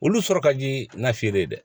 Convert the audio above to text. Olu sɔrɔ ka di nafe ye dɛ